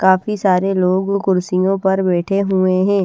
काफी सारे लोग कुर्सियों पर बैठे हुए है।